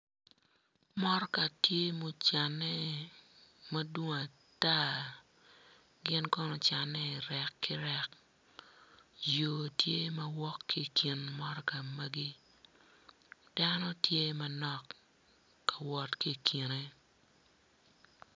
Mutika tye ma ocanne madwong ata gin kono ocanne i rek ki rek yo tye ma woto ki i kin motoka magi dano tye manok ka wot ki i kine.